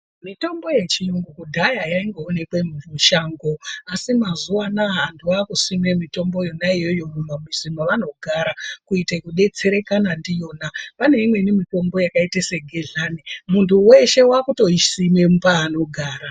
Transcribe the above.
Mitombo yechiyungu kudhaya yaingoonekwe mushango asi mazuva anaa wandu wakusime mitombo iyoyoyo muma mizi mavanogara kuitira kubetsereka ndiyona pane imweni mitombo yakaite segedhlaniundi weshe wakutoisime paanogara.